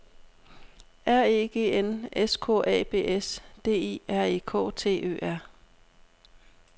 R E G N S K A B S D I R E K T Ø R